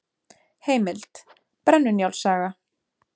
Heimild: Brennu-Njáls saga.